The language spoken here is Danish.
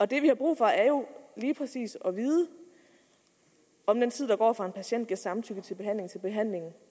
det vi har brug for er jo lige præcis at vide om den tid der går fra en patient giver samtykke til behandling til behandlingen